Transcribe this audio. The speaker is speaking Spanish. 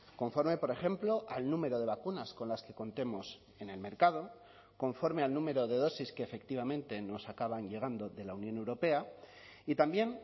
conforme por ejemplo al número de vacunas con las que contemos en el mercado conforme al número de dosis que efectivamente nos acaban llegando de la unión europea y también